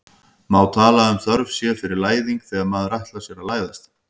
má tala um þörf sé fyrir læðing þegar maður ætlar sér að læðast